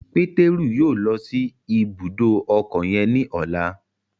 Pétérù yóò lọ si ibùdó ọkọ yen ní ọla